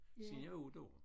Siden jeg var 8 år